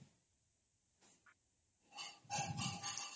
noise